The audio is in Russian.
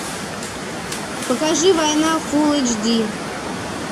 покажи война фулл эйч ди